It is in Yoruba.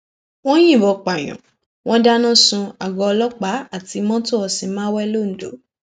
wọn yìnbọn pààyàn wọn dáná sun àgọ ọlọpàá àti mọtò ọsimáwé londo